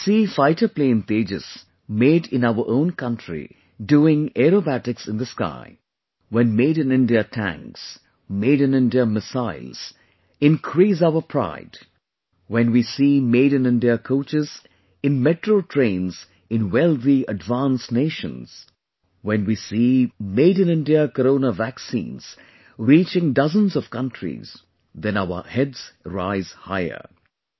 When we see fighter plane Tejas made in our own country doing acrobatics in the sky, when Made in India tanks, Made in India missiles increase our pride, when we see Made in India coaches in Metro trains in wealthyadvanced nations, when we see Made in India Corona Vaccines reaching dozens of countries, then our heads rise higher